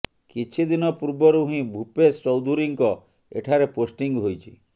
କିଛି ଦିନ ପୂର୍ବରୁ ହିଁ ଭୂପେଶ ଚୌଧୁରୀଙ୍କ ଏଠାରେ ପୋଷ୍ଟିଂ ହୋଇଛି